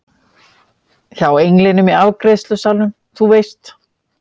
Hjá englinum í afgreiðslusalnum, þú veist.